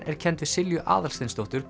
er kennd við Silju Aðalsteinsdóttur